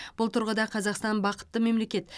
бұл тұрғыда қазақстан бақытты мемлекет